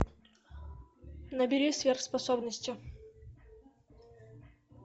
набери сверхспособности